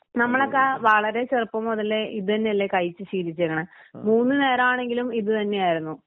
നമ്മളൊക്കെ വളരെ ചെറുപ്പം മുതലേ ഇതന്നെയല്ലേ കഴിച്ച് ശീലിച്ചേക്കണേ മൂന്നുനേരം ആണെങ്കിലും ഇതുതന്നെയായിരു.